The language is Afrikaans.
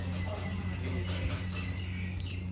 junie